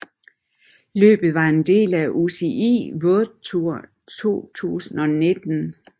Løbet var en del af UCI World Tour 2019